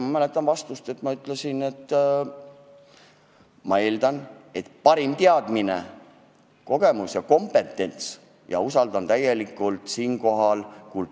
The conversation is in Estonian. Ma mäletan oma vastust: ma ütlesin, et eeldatavasti on kultuurikomisjonil selles valdkonnas parim teadmine, kogemus ja kompetents ja ma usaldan seda komisjoni täielikult.